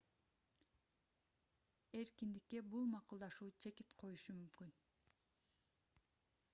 эркиндикке бул макулдашуу чекит коюшу мүмкүн